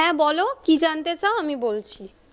হ্যা বলো, কি জানতে চাও আমি বলছি।